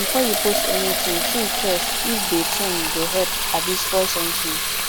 before you post anything think first if de thing go help abi spoil something